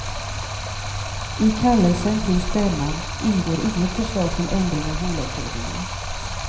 I kallelsen till stämman ingår inget förslag till ändring av bolagsordningen.